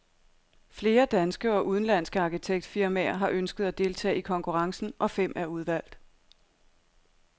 Flere danske og udenlandske arkitektfirmaer har ønsket at deltage i konkurrencen, og fem er udvalgt.